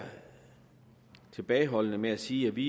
tilbageholdende med at sige at vi